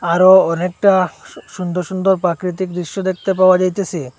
আরো অনেকটা সুন্দর সুন্দর প্রাকৃতিক দৃশ্য দেখতে পাওয়া যাইতেসে।